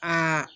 Aa